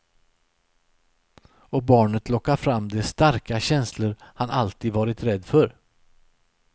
Och barnet lockar fram de starka känslor han alltid varit rädd för.